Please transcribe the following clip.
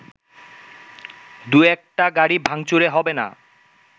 দু একটা গাড়ি ভাংচুরে হবেনা